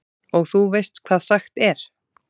Og þú veist hvað sagt er?